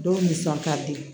Dɔw nisɔn ka di